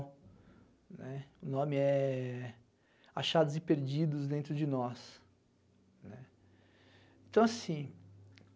né. O nome é Achados e Perdidos Dentro de Nós. Então assim,